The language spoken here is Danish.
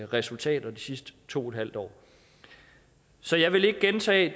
resultater de sidste to en halv år så jeg vil ikke gentage